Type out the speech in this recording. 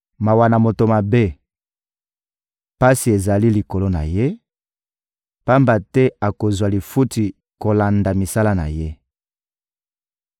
Mawa na moto mabe! Pasi ezali likolo na ye, pamba te akozwa lifuti kolanda misala na ye.